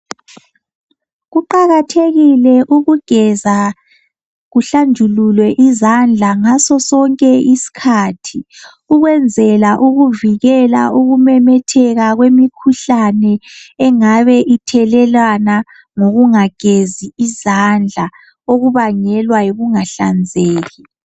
Kuqakathekile ukugeza kuhlanjululwe izandla ngaso sonke iskhathi. Ukunzela ukuvikela ukumemetheka kwrmkhuhlane engabe ithelelana ngokungagezi izandla, okubangelwa ngokungahlanzeki.